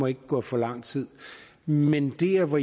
ikke gå for lang tid men men der hvor